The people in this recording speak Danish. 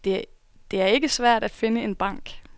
Det er ikke svært at finde en bank.